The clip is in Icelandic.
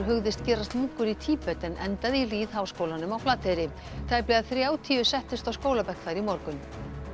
hugðist gerast munkur í Tíbet en endaði í lýðháskólanum á Flateyri tæplega þrjátíu settust á skólabekk þar í morgun